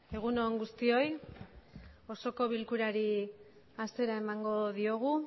egun on guztioi osoko bilkurari hasiera emango diogu